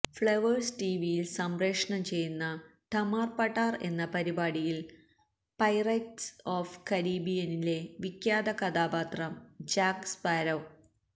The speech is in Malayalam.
ഫ്ളവേഴ്സ് ടിവിയിൽ സംപ്രേഷണം ചെയ്യുന്ന ടമാാാർ പഠാാാാർ എന്ന പരിപാടിയിൽ പൈററ്റ്സ് ഓഫ് കരീബിയനിലെ വിഖ്യാത കഥാപാത്രം ജാക്ക് സ്പാരോ